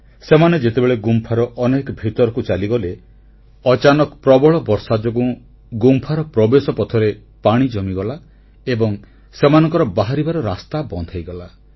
ସେମାନେ ଯେତେବେଳେ ଗୁମ୍ଫାର ଅନେକ ଭିତରକୁ ଚାଲିଗଲେ ଅଚାନକ ପ୍ରବଳ ବର୍ଷା ଯୋଗୁଁ ଗୁମ୍ଫାର ପ୍ରବେଶପଥରେ ପାଣି ଜମିଗଲା ଏବଂ ସେମାନଙ୍କର ବାହାରିବାର ରାସ୍ତା ବନ୍ଦ ହୋଇଗଲା